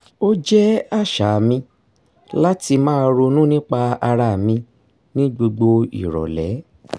o jẹ́ àṣà mi láti máa ronú nípa ara mi ní gbogbo ìrọ̀lẹ́